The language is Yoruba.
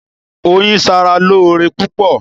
Oyin ṣara lóore púpọ̀.